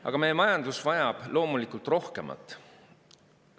Aga meie majandus vajab loomulikult rohkemat.